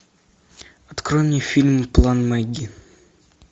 открой мне фильм план мэгги